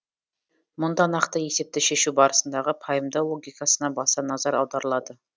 мұнда нақты есепті шешу барысындағы пайымдау логикасына баса назар аударылады